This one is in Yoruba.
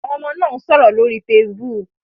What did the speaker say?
Àwọn ọmọ náà ń sọ̀rọ̀ lórí Facebook